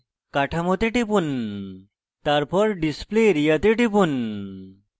কাঠামোতে টিপুন তারপর display area তে টিপুন